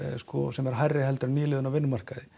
sem er hærri en nýliðun á vinnumarkaði